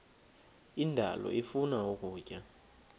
indalo ifuna ukutya